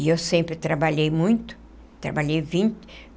E eu sempre trabalhei muito trabalhei